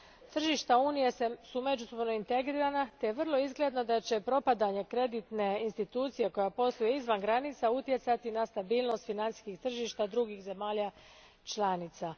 Tržišta Unije su međusobno integrirana te je vrlo izgledno da će propadanje kreditne institucije koja posluje izvan granica utjecati na stabilnost financijskih tržišta drugih zemalja članica.